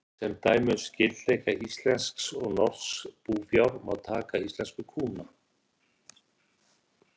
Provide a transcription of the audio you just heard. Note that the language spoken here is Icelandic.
Sem dæmi um skyldleika íslensks og norsks búfjár má taka íslensku kúna.